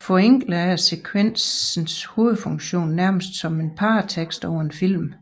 Forenklet er sekvensens hovedfunktion nærmest som en paratekst over en film